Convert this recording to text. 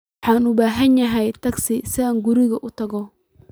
Waxaan u baahanahay tagsi si aan guriga ugu tago